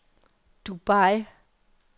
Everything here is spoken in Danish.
Dubai